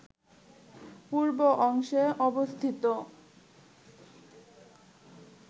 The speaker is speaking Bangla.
পূর্ব অংশে অবস্থিত